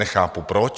Nechápu proč.